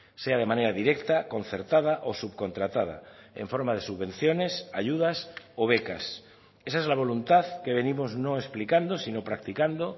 sea de manera directa concertada o subcontratada en forma de subvenciones ayudas o becas esa es la voluntad que venimos no explicando sino practicando